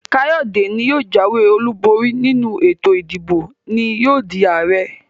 Kayode ní yóò jàwé olú bori nínú ètò ìdìbò ní yóò dii Ààrẹ.